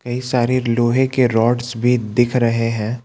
कई सारे लोहे के रोड्स भी दिख रहे हैं।